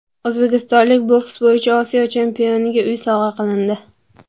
O‘zbekistonlik boks bo‘yicha Osiyo chempioniga uy sovg‘a qilindi.